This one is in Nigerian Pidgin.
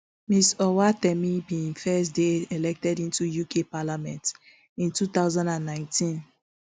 ms owatemi bin first dey elected into the uk parliament in two thousand and nineteen